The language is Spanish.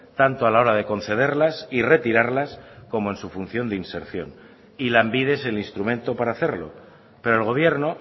tanto a la hora de concederlas y retirarlas como en su función de inserción y lanbide es el instrumento para hacerlo pero el gobierno